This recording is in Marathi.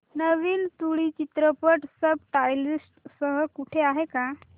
नवीन तुळू चित्रपट सब टायटल्स सह कुठे आहे का